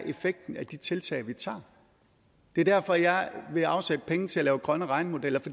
effekten af de tiltag vi tager er det er derfor jeg vil afsætte penge til at lave grønne regnemodeller